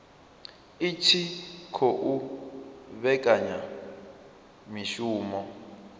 i tshi khou vhekanya mishumo